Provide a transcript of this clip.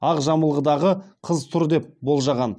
ақ жамылғыдағы қыз тұр деп болжаған